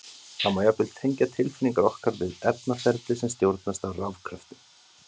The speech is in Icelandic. Það má jafnvel tengja tilfinningar okkar við efnaferli sem stjórnast af rafkröftum!